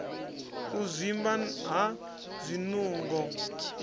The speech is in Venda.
u zwimba ha zwinungo i